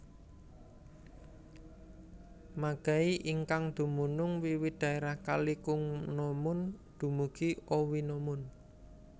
Magai ingkang dumunung wiwit daerah kali Kungnomun dumugi Owinomun